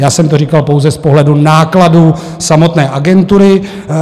Já jsem to říkal pouze z pohledu nákladů samotné agentury.